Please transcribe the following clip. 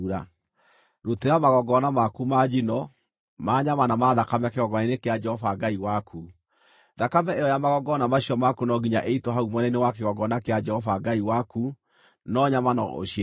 Rutĩra magongona maku ma njino, ma nyama na ma thakame kĩgongona-inĩ kĩa Jehova Ngai waku. Thakame ĩyo ya magongona macio maku no nginya ĩitwo hau mwena-inĩ wa kĩgongona kĩa Jehova Ngai waku, no nyama no ũcirĩe.